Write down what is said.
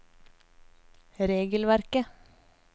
regelverket